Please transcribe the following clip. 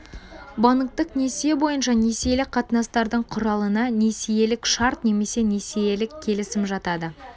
банктік несие бойынша несиелік қатынастардың құралына несиелік шарт немесе несиелік келісім жатады